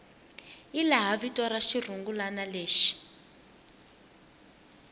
hilaha vito ra xirungulwana lexi